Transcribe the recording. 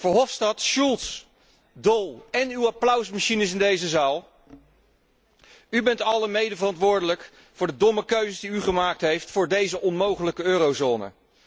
Verhofstadt, Schulz, Daul en uw applausmachines in deze zaal, u bent allen medeverantwoordelijk voor de domme keuzes die u gemaakt heeft voor deze onmogelijke eurozone.